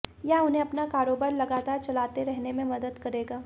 यह उन्हें अपना कारोबार लगातार चलाते रहने में मदद करेगा